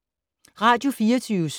Radio24syv